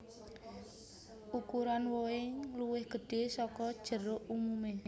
Ukuran wohè luwih gedhè saka jeruk umumè